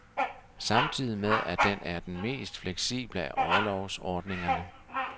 Samtidig med at den er den mest fleksible af orlovsordningerne.